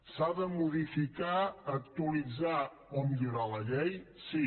s’ha de modificar actualitzar o millorar la llei sí